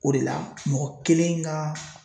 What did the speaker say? O de la mɔgɔ kelen ka